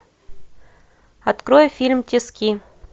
открой фильм тиски